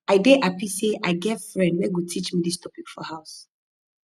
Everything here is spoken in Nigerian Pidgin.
i dey happy say i get friend wey go teach me dis topic for house